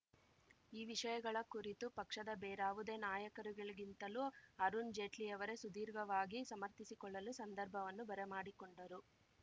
ಈ ವಿಷಯಗಳ ಕುರಿತು ಪಕ್ಷದ ಬೇರಾವುದೇ ನಾಯಕರುಗಳಿಗಿಂತಲೂ ಅರುಣ್‌ ಜೈಟ್ಲಿಯವರೇ ಸುದೀರ್ಘವಾಗಿ ಸಮರ್ಥಿಸಿಕೊಳ್ಳಲು ಸಂದರ್ಭವನ್ನು ಬರಮಾಡಿಕೊಂಡರು